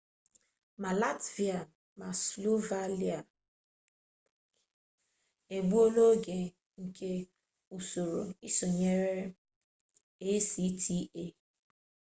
ma latvia ma slovakia egbuola oge nke usoro isonyere acta